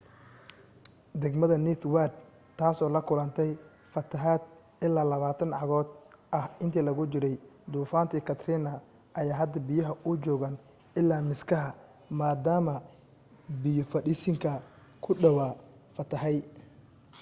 degmada ninth ward ,taasoo la kulanatay fatahaad ilaa 20 cagood ah intii lagu jiray duufaantii katrina ayaa hadda biyuhu u joogaan ilaa miskaha maadaama biyo fadhiisinka ku dhawaa fatahay